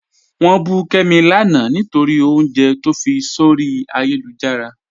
Wọn bù Kẹ́mi láńà nítorí ọ̀unjẹ̀ tó fí sọ̀rí ayélujára.